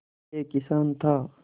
एक किसान था